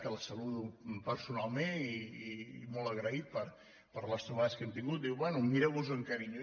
que la saludo personalment i molt agraït per les trobades que hem tingut diu bé mireu vos ho amb carinyo